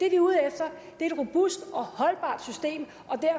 er ude efter er et robust og holdbart system